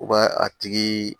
U ka a tigi